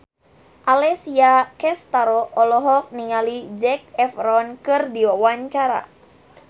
Alessia Cestaro olohok ningali Zac Efron keur diwawancara